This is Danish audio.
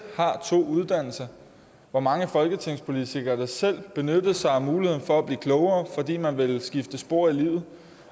har to uddannelser hvor mange folketingspolitikere der selv benyttede sig af muligheden for at blive klogere fordi man ville skifte spor i livet